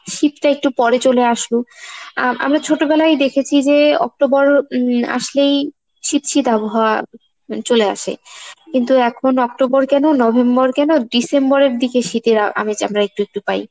শীতটা একটু পরে চলে আসলো আ~ আমরা ছোট বেলায় দেখেছি যে October উম আসলেই শীত শীত আবহাওয়া চলে আসে কিন্তু এখন October কেন November কেন December এর দিকে শীতের আ~ আমেজ আমরা একটু একটু পাই।